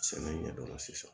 Sɛnɛ ɲɛdɔn sisan